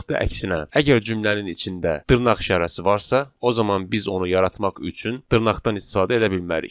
Və yaxud da əksinə, əgər cümlənin içində dırnaq işarəsi varsa, o zaman biz onu yaratmaq üçün dırnaqdan istifadə edə bilmərik.